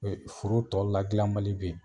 Foro tɔ ladilanbali bɛ yen